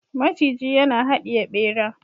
maciji yana hadiye bera